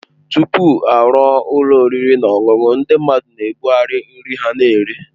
Tupu a rụọ ụlọ oriri na ọṅụṅụ, ndị mmadụ na-ebugharị nri ha na-ere.